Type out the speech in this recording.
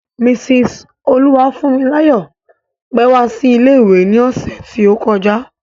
Mrs Oluwafunmilayo pẹ́ wá sí ilé ìwé ni ọ̀sẹ̀ ti o kọjá.